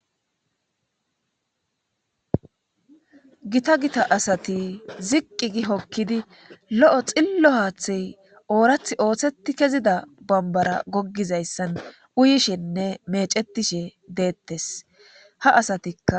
gita gita asati ziqqi gi hokkidi lo7o xillo haaththey oorath ooththeti kezida bambara goggizayssan uyishenne mecetishe deettes ha asatikka